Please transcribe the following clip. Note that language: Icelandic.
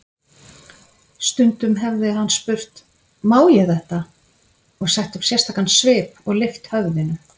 Stundum hefði hann spurt: Má ég þetta? og sett upp sérstakan svip og lyft höfðinu.